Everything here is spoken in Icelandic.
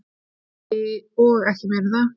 Og ekki meira um það.